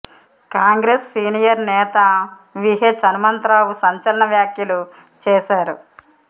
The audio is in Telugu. కాంగ్రెస్ సీనియర్ నేత వి హెచ్ హనుమంత రావు సంచలన వ్యాఖ్యలు చేశారు